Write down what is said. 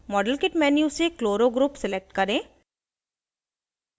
model kit menu से chloro group select करें